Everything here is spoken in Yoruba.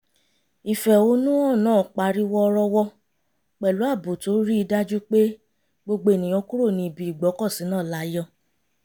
ìfẹ̀hónùhàn náà parí wọ́rọ́wọ́ pẹ̀lú ààbò tó rí i dájú pé gbogbo ènìyàn kúrò ní ibi ìgbọ́kọ̀sí náà láyọ̀